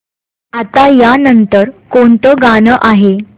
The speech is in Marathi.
आता या नंतर कोणतं गाणं आहे